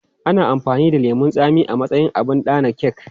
Ana amfani da lemun tsami a matsayin abin adana kek.